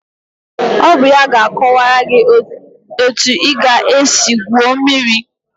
Ọ bụ ya ga-akọwara gị etu ị ga-esi gwuo mmiri